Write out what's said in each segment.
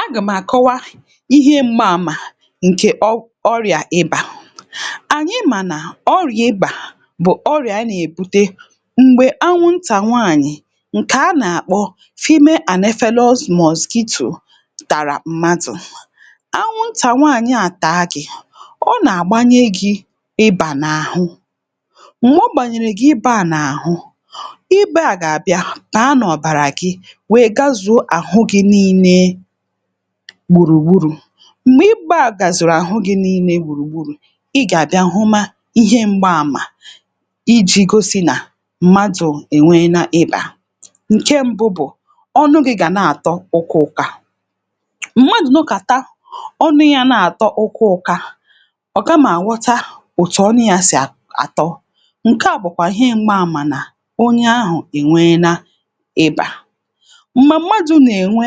A gàmàkọwa ihe mgba àmà ǹkè ọrịà ịbà. Ànyị mà nà ọrịà ịbà bụ̀ ọrịà a nà-èbute m̀gbè anwụntà nwaànyị̀ ǹkè a nà-àkpọ female anaphelous mosquito tara mmadụ. Anwụntà nwaanyị a taa gị, ọ nà-àgbanye gị ịbà n’àhụ. Mgbe ọ gbànyèrè gị ịbà à n’àhụ ịbà a gà-àbịa bàa n'ọ̀bàrà gị wee gàzụ̀o àhụ gi̇ niine gbùrùgburù. Mgbè ịgbȧ àgàzụ̀rụ̀ àhụ gi̇ niile gbùrùgburù ị gà-àbịa hụma ihe m̀gba àmà iji̇ gosi nà mmadụ̀ ènweena ịbà. Nke mbụ bụ̀ ọnụ gi̇ gà na-àtọ ụká ụká; mmadụ̀ nọkàta ọnụ ya na-àtọ ụká ụká ọ̀ kamà aghọta otu ọnụ ya sì àtọ ǹke à bụ̀kwà ihe m̀gba àmà nà onye ahụ̀ ènweena ịbà. Mgbe mmadụ na-enwe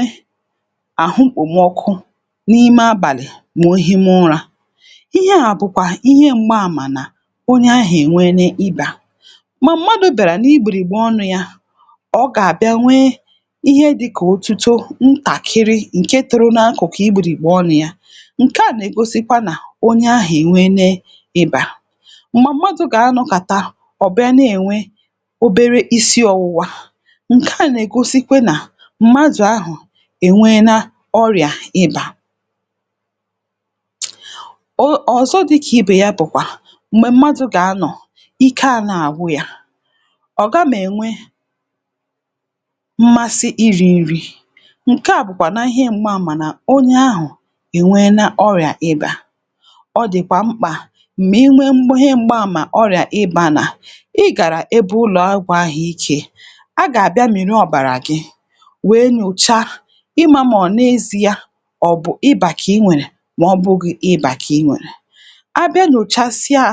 àhụ mkpòmọkụ n’ime abàlị̀ màohima ụra ihe à bụ̀kwà ihe m̀gba àmà nà onye ahụ̀ ènweene ibà. Ma m̀madụ̀ bịara n’igbirìgbe ọnụ ya ọ gà-àbịa nwee ihe dịkà ótútó ntàkịrị ǹke toro n’akụ̀kụ̀ igbirìgbe ọnụ ya ǹke à nà-ègosikwa nà onye ahụ̀ ènweene ịbà. Mgbà m̀madụ̇ gà-anọkàta ọ̀bịa na-ènwe obere isi ọwụwa ǹke à nà-ègosikwe nà m̀madụ̀ ahụ̀ enweena ọrịà ịbà. um Ọzọ dịka ibe ya bụ na mgbe mmadu ga-anọ, ike ana-agwụ ya, ọ gam'enwe mmasi iri nri ka bụkwa na ihe mgba ama na onye ahụ ènweena ọrị̇a ịbà. Ọ dịkwa mkpa ma ị nwee ihe mgba ama ọrị̇a ịbà na ị gara ebe ụlọọgwụ àhụike. A gà-àbịa miri ọ̀bàrà gị wee nyochaa ị ma maọ n'eziya ọ̀ bụ̀ ịbà kà inwèrè mà ọbụghị ịbà kà inwèrè. A bịa nyochasịa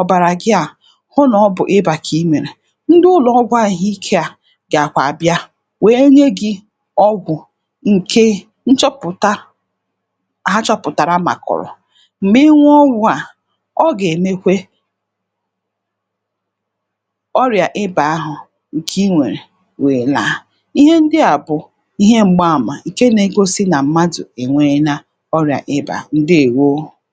ọ̀bàrà gị à hụ nà ọ bụ̀ ịbà kà imèrè ndị ụlọọgwụ àhụike à gàkwà abịa wèe nye gị ọgwụ̀ ǹke nchọpụ̀ta ha chọpụ̀tàrà màkọ̀rọ̀. Mgbè inwụọ ọgwụ à ọ gà-èmekwe ọrìà ịbà ahụ ǹkè inwèrè wèè là. Ihe ndị à bụ̀ ihe m̀gba àmà nke na-egosị na mmadu ènweena ọrịà ịbà, ǹdewo.